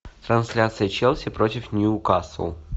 трансляция челси против ньюкасл